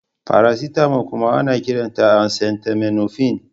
Faracetamol kuma ana kiranta acetaminofen.